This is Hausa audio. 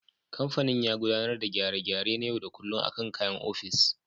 Kamfanin ya gudanar da gyare-gyare na yau da kullum akan kayan ofis.